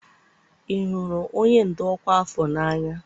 ị hụrụ onye ndu ọkwa afọ n'anya?